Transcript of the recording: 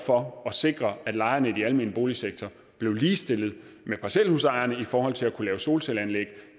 for at sikre at lejerne i den almene boligsektor blev ligestillet med parcelhusejerne i forhold til at kunne lave solcelleanlæg